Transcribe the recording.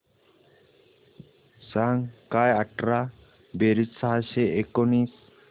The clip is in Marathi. सांग काय अठरा बेरीज सहाशे एकोणीस